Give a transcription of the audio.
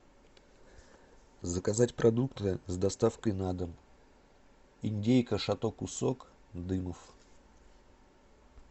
заказать продукты с доставкой на дом индейка шато кусок дымов